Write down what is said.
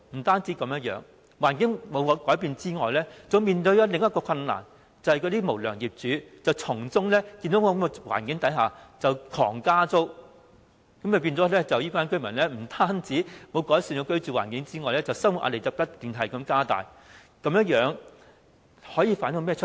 他們居住環境沒有改變之餘，更要面對另一個困難，就是那些無良業主眼見這種環境，更是瘋狂加租，以致這些居民的居住環境不單沒有改善，更要面對更大的生活壓力。